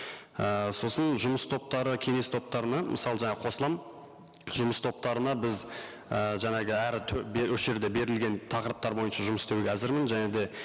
і сосын жұмыс топтары кеңес топтарына мысалы жаңа қосыламын жұмыс топтарына біз і жаңағы әрі бері осы жерде берілген тақырыптар бойынша жұмыс істеуге әзірмін және де